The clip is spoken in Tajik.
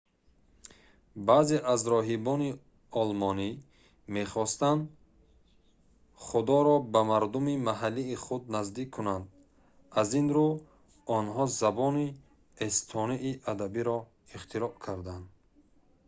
баъзе аз роҳибони олмонӣ мехостанд худоро ба мардуми маҳаллии худ наздик кунанд аз ин рӯ онҳо забони эстонии адабиро ихтироъ карданд